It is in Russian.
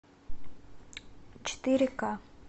четыре ка